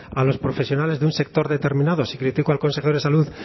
a los profesionales de un sector determinado si critico al consejero de salud